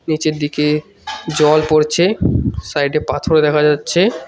নীচের দিকে জল পড়ছে সাইড -এ পাথর দেখা যাচ্ছে।